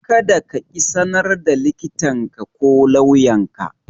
Kada kaƙi sanar da likitanka ko lauyanka.